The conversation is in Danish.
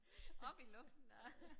Op i luften nej